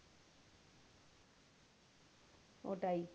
ওটাই।